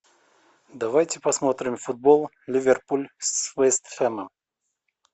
давайте посмотрим футбол ливерпуль с вест хэмом